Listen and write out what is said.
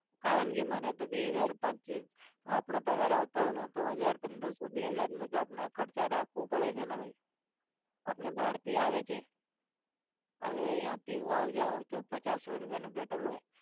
કારણ કે મને બે હજાર પચ્ચી આપણો પગાર આવતો હોય ને તો હજાર પંદરસો બે હાજરનો તો આપણે ખર્ચો રાખવો પડે છે ને ભાઈ આપણે બારથી આવે છે હવે ત્યાંથી હું આવ જાવ તો પચાસ સો રૂપિયાનું પેટ્રોલ હોય.